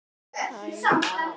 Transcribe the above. níu nóttum fyrir jól